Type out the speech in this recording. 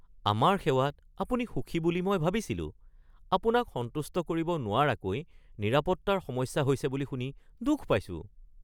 আমাৰ সেৱাত আপুনি সুখী বুলি মই ভাবিছিলোঁ। আপোনাক সন্তুষ্ট কৰিব নোৱাৰাকৈ নিৰাপত্তাৰ সমস্যা হৈছে বুলি শুনি দুখ পাইছো। (বেঙ্কৰ কেৰাণী)